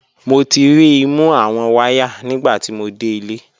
Mo ti ri i mu awọn waya nigbati mo de ile.